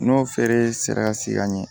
N'o feere sera ka se ka ɲɛ